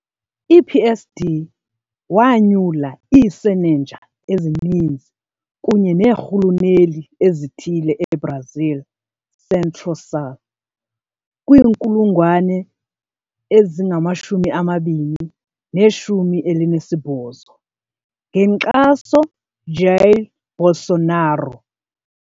I-PSD wanyula iisenenja ezininzi kunye neerhuluneli ezithile eBrazil Centro-Sul kwi-2018, ngenkxaso Jair Bolsonaro.